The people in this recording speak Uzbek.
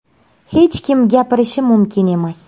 Hech kim gapirishi mumkin emas.